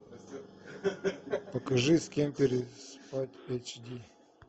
покажи с кем переспать эйч ди